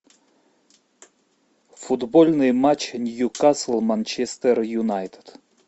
футбольный матч ньюкасл манчестер юнайтед